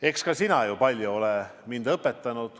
Eks ka sina oled mind palju õpetanud.